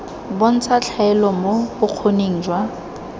bontsha tlhaelo mo bokgoning jwa